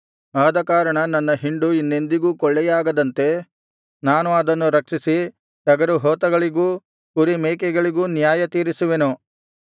ಆದಕಾರಣ ನನ್ನ ಹಿಂಡು ಇನ್ನೆಂದಿಗೂ ಕೊಳ್ಳೆಯಾಗದಂತೆ ನಾನು ಅದನ್ನು ರಕ್ಷಿಸಿ ಟಗರುಹೋತಗಳಿಗೂ ಕುರಿಮೇಕೆಗಳಿಗೂ ನ್ಯಾಯತೀರಿಸುವೆನು